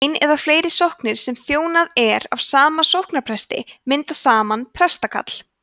ein eða fleiri sóknir sem þjónað er af sama sóknarpresti mynda saman prestakall